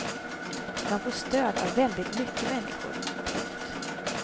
Man får stöd av väldigt mycket människor. punkt